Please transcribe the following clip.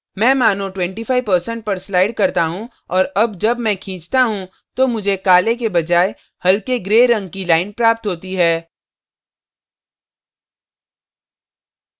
मैं मानों 25% पर slide करता हूँ और अब जब मैं खींचता हूँ तो मुझे काले के बजाय हल्के grey रंग की line प्राप्त होती है